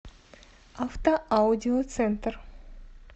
автоаудиоцентр